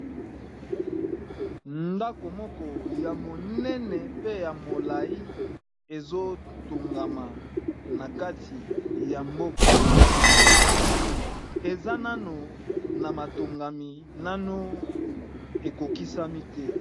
ndako moko ya monene pe ya molai ezotongama na kati ya mboka eza nano na matongami nano ekokisami te